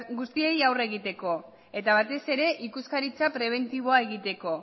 guztiei aurre egiteko eta batez ere ikuskaritza prebentiboa egiteko